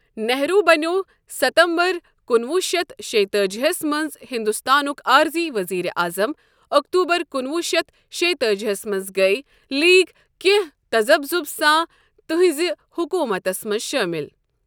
نہرو بنیو ستمبر کُنوُہ شیتھ شےٚ تأجی ہَس منٛز ہندوستانُک عارضی وزیر اعظم اکتوبرکُنوُہ شیتھ شےٚ تأجی ہَس منٛز گیۍ لیگ کینٛہہ تَزَبزُب ساں تہنٛرِ حکومتس منٛز شٲمِل۔